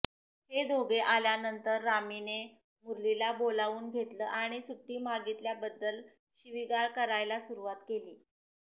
हे दोघे आल्यानंतर रामीने मुरलीला बोलावून घेतलं आणि सुट्टी मागितल्याबद्दल शिवीगाळ करायला सुरुवात केली